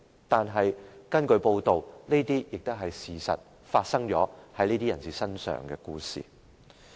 可是，根據報道，在這些人身上發生的故事，亦確實是事實。